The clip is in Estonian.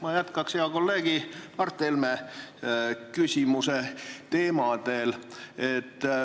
Ma jätkan hea kolleegi Mart Helme küsimuse teemadel.